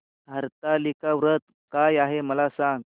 हरतालिका व्रत काय आहे मला सांग